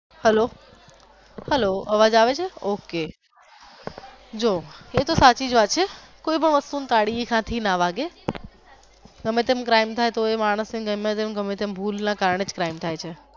hello hello અવાજ આવે છે ok જો એ તો સાચી જ વાત છે કોઈ પણ વસ્તુ ને પાડવી સાચી ના લાગે ગમે તેમ crime થાય તો માણસ ની ગમેતેમ ભૂલ ના કારણે જ crime થાય છે.